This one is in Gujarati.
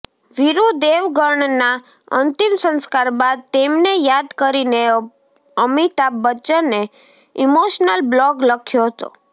વીરુ દેવગણના અંતિમ સંસ્કાર બાદ તેમને યાદ કરીને અમિતાભ બચ્ચને ઈમોશનલ બ્લોગ લખ્યો હતો